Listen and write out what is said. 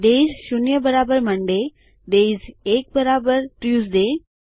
તો ડેયઝ શૂન્ય બરાબર મોન્ડે ડેયઝ એક બરાબર ટ્યુઝડે